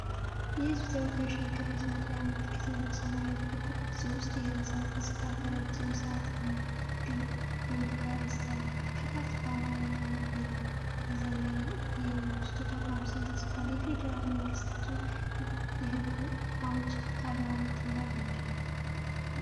የህዝብ ተወካዮች ምክር ቤት መለያ ምልክት ነው። በሰማያዊ ክብ ቅርጽ ውስጥ፣ የሕንፃው ገጽታ ከረጃጅም ሰዓት ግንብ ጋር ይስተዋላል። ከታች በአማርኛ እና በእንግሊዝኛ የመንግስቱ ተቋም ስም ተጽፏል። የፌደራል መንግስቱ የሕግ አውጭ አካል ዋና ተግባር ምንድነው?